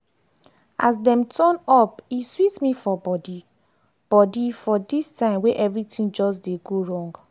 as dem turn up e sweet me for body body for this time wey everything just dey go wrong.